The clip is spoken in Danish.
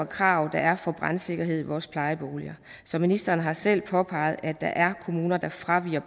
krav der er for brandsikkerhed i vores plejeboliger så ministeren har selv påpeget at der er kommuner der fraviger